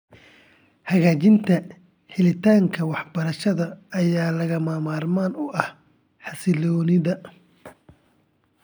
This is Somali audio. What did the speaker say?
Hagaajinta helitaanka waxbarashada ayaa lagama maarmaan u ah xasilloonida .